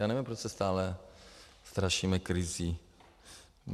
Já nevím, proč se stále strašíme krizí.